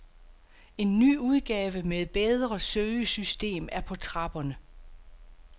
En ny udgave med bedre søgesystem er på trapperne.